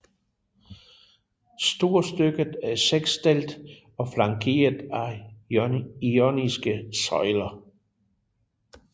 Storstykket er seksdelt og flankeret af joniske søjler